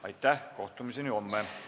Aitäh ja kohtumiseni homme!